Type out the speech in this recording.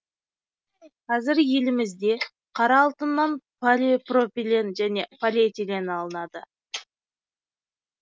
қазір елімізде қара алтыннан полипропилен және полиэтилен алынады